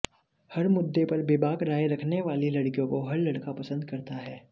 हर मुद्दे पर बेबाक राय रखने वाली लड़कियों को हर लड़का पसंद करता है